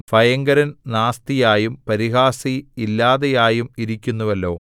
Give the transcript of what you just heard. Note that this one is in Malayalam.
ഭയങ്കരൻ നാസ്തിയായും പരിഹാസി ഇല്ലാതെയായും ഇരിക്കുന്നുവല്ലോ